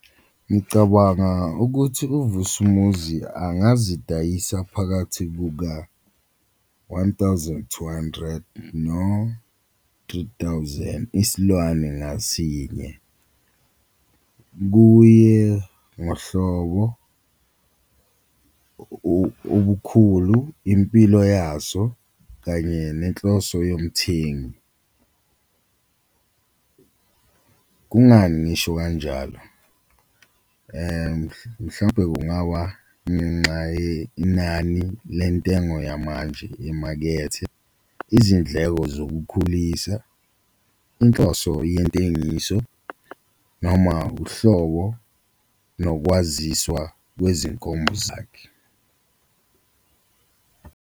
Ngicabanga ukuthi uVusimuzi angazidayisa phakathi kuka-one thousand two hundred no-three thousand isilwane ngasinye, kuye ngohlobo, ubukhulu, impilo yaso kanye nenhloso yomthengi, kungani ngisho kanjalo? Mhlawumpe kungaba ngenxa yenani lentengo yamanje emakethe, izindleko zokukhulisa, inhloso yentengiso, noma uhlobo nokwaziswa kwezinkomo zakhe.